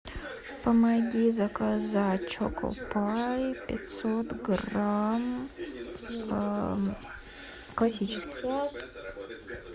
помоги заказать чоко пай пятьсот грамм классический